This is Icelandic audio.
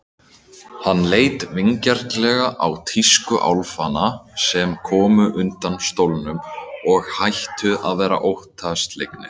Hann leit vingjarnlega á tískuálfana sem komu undan stólnum og hættu að vera óttaslegnir.